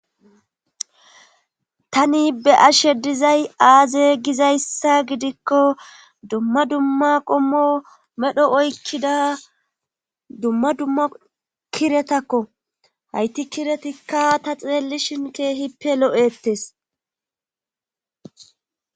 tani be'ashe dizay aaze gizayssa gidikko dumma dumma qommo medho oykkida dumma dumma kiretakko hayti kiretikka ta xeelli shinkeehippe lo7ettes